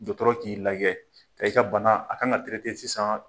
Dɔtɔrɔ k'i lajɛ ka i ka bana a kan ka sisan.